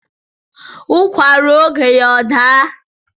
There is time for everything